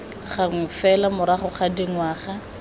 gangwe fela morago ga dingwaga